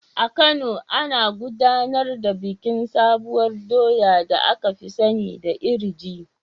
A Kano, an gudanar da bikin sabuwar doya da aka fi sani da iri ji.